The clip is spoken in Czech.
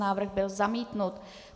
Návrh byl zamítnut.